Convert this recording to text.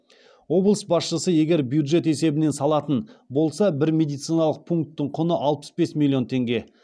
облыс басшысы егер бюджет есебінен салатын болса бір медициналық пунктің құны алпыс бес миллион теңге